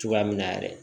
Cogoya min na yɛrɛ